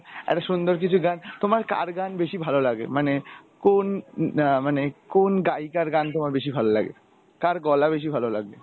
আরও সুন্দর কিছু গান তোমার কার গান বেশি ভালো লাগে মানে কোন অ্যাঁ মানে কোন গায়িকার গান তোমার বেশি ভালো লাগে কার গলা বেশি ভালো লাগে?